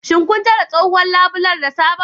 Shin kun canza tsohuwar labule da sabon?